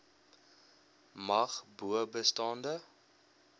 mag bo bestaande